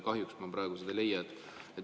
Kahjuks ma praegu seda ei leia.